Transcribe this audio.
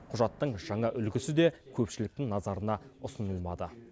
құжаттың жаңа үлгісі де көпшіліктің назарына ұсынылмады